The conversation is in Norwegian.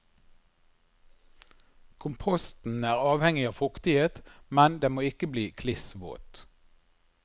Komposten er avhengig av fuktighet, men den må ikke bli kliss våt.